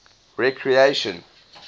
recreation